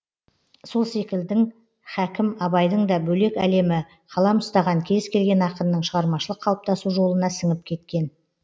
сол секілдің хәкім абайдың да бөлек әлемі қалам ұстаған кез келген ақынның шығармашылық қалыптасу жолына сіңіп кеткен